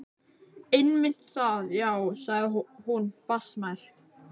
Einmitt það, já- sagði hún fastmælt.